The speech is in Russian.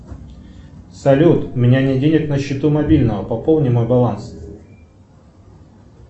салют у меня нет денег на счету мобильного пополни мой баланс